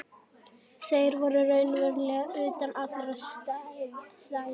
Þeir voru raunverulega utan allra stétta.